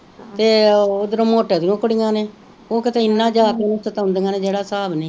ਤੇ ਉਦਰੋ ਮੋਟੋ ਦੀ ਕੁੜੀਆਂ ਨੇ ਉਹ ਕਿਤੇ ਏਨਾ ਜਾ ਕੇ ਉਹਨੂੰ ਸਤਾਉਂਦੀਆਂ ਨੇ ਜੇਹੜਾ ਹਸਾਬ ਨੀ